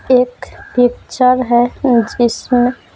एक पिक्चर है जिसमें--